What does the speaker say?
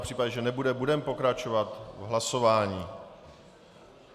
V případě, že nebude, budeme pokračovat v hlasování.